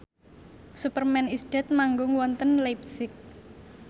Superman is Dead manggung wonten leipzig